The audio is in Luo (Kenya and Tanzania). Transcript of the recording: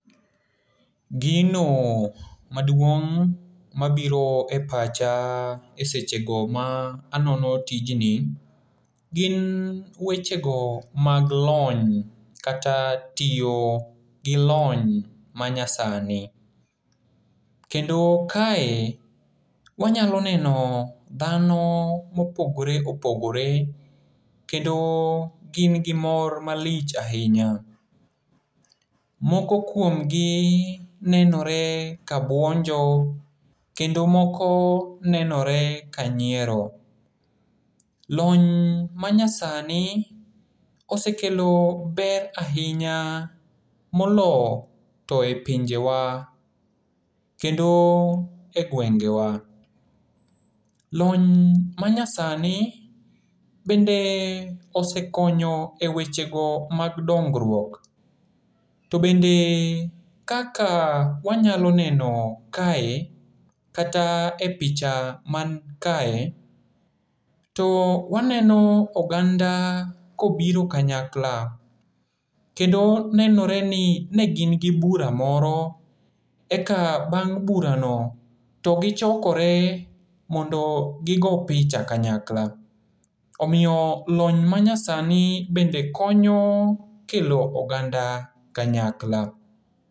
Gino maduong' mabiro e pacha e sechego ma anono tijni, gin wechego mag lony kata tiyo gi lony manyasani. Kendo kae, wanyalo neno dhano mopogore opogore kendo gin gi mor malich ahinya. Moko kuomgi nenore kabuonjo kendo moko nenore ka nyiero. Lony manyasani osekelo ber ahinya molo to e pinjewa kendo e gwengewa. Lony manyasani bende osekonyo e wechego mag dongruok to bende kaka wanyalo neno kae, kata e picha mankae, to waneno oganda kobiro kanyakla, kendo nenore ni ne gin gi bura moro eka bang' burano to gichokore mondo gigo picha kanyakla. Omiyo lony manyasani bende konyo kelo oganda kanyakla.